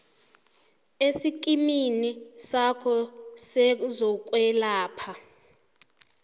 esikimini sakho sezokwelapha